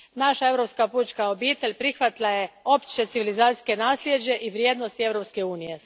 Naša europska pučka obitelj prihvatila je opće civilizacijsko nasljeđe i vrijednosti Europske unije.